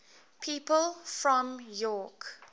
people from york